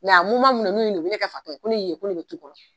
Nka min don n'u ne ka fatɔ ye ko ne ye ko ne bɛ tu kɔnɔ